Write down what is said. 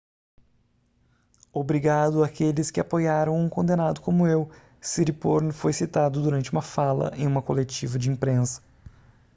obrigado àqueles que apoiaram um condenado como eu siriporn foi citado durante uma fala em uma coletiva de imprensa